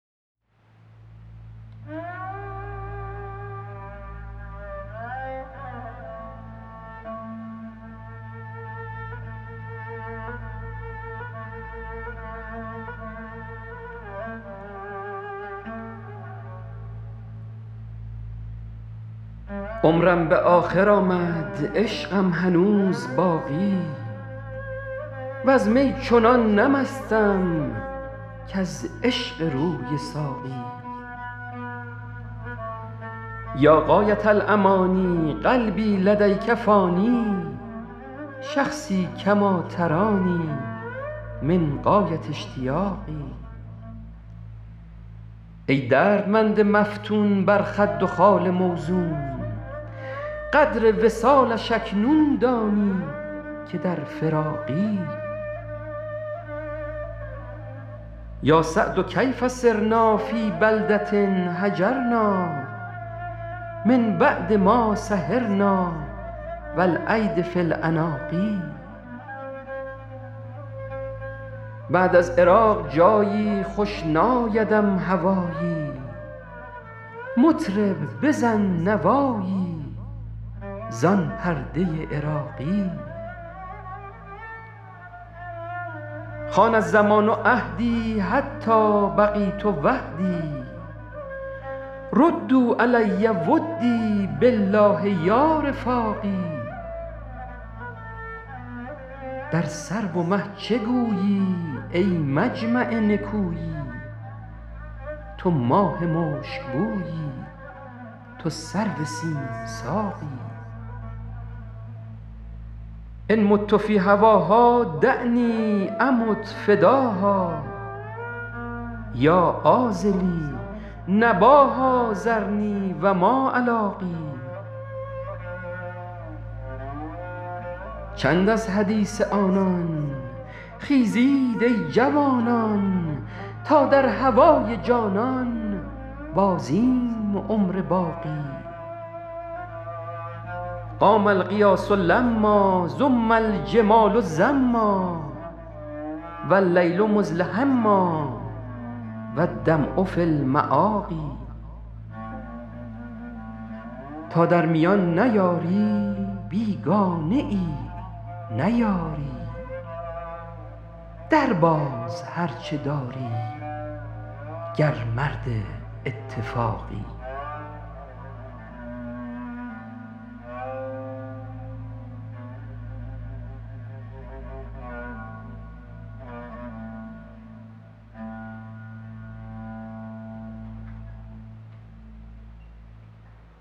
عمرم به آخر آمد عشقم هنوز باقی وز می چنان نه مستم کز عشق روی ساقی یا غایة الأمانی قلبی لدیک فانی شخصی کما ترانی من غایة اشتیاقی ای دردمند مفتون بر خد و خال موزون قدر وصالش اکنون دانی که در فراقی یا سعد کیف صرنا فی بلدة هجرنا من بعد ما سهرنا و الایدی فی العناق بعد از عراق جایی خوش نایدم هوایی مطرب بزن نوایی زان پرده عراقی خان الزمان عهدی حتی بقیت وحدی ردوا علی ودی بالله یا رفاقی در سرو و مه چه گویی ای مجمع نکویی تو ماه مشکبویی تو سرو سیم ساقی ان مت فی هواها دعنی امت فداها یا عاذلی نباها ذرنی و ما الاقی چند از حدیث آنان خیزید ای جوانان تا در هوای جانان بازیم عمر باقی قام الغیاث لما زم الجمال زما و اللیل مدلهما و الدمع فی المآقی تا در میان نیاری بیگانه ای نه یاری درباز هر چه داری گر مرد اتفاقی